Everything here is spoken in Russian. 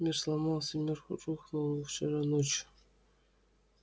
мир сломался мир рухнул вчера ночью